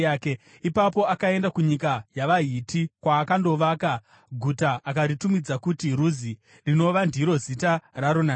Ipapo akaenda kunyika yavaHiti, kwaakandovaka guta akaritumidza kuti Ruzi, rinova ndiro zita raro nanhasi.